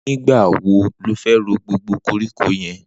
Nigbà wó ló fè ró gbógbó kórikó yèn?